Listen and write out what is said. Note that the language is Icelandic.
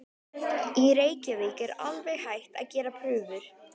Í Reykjavík er alveg hætt að gera prufur.